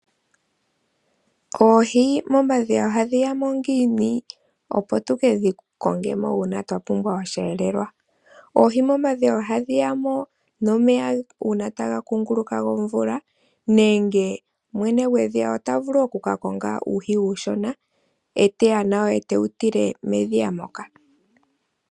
Oohi momadhiya ohadhi yamo ngiini opo tukedhi kongemo uuna twapumbwa oshiyelelwa? Oohi momadhiya ohadhi yamo nomeya uuna taga kunguluka gomvula, nenge mwene gwedhiya otavulu okuka konga uuhi uushona etaya nawo, etewu tile medhiya moka.